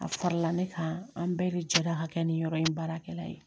A fara la ne kan an bɛɛ de jɛra ka kɛ ni yɔrɔ in baarakɛla ye